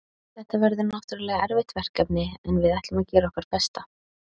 Þetta verður náttúrulega erfitt verkefni en við ætlum að gera okkar besta.